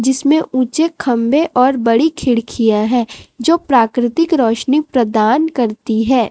जिसमें ऊंचे खंबे और बड़ी खिड़कियां हैं जो प्राकृतिक रोशनी प्रदान करती है।